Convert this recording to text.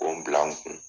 K'o bila n kun